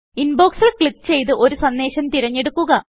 inbox ൽ click ചെയ്ത് ഒരു സന്ദേശം തെരഞ്ഞെടുക്കുക